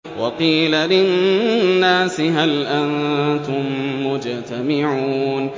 وَقِيلَ لِلنَّاسِ هَلْ أَنتُم مُّجْتَمِعُونَ